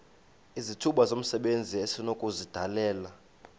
izithuba zomsebenzi esinokuzidalela